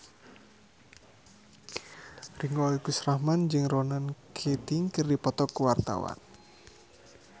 Ringgo Agus Rahman jeung Ronan Keating keur dipoto ku wartawan